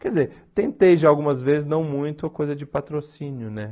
Quer dizer, tentei já algumas vezes, não muito, a coisa de patrocínio, né?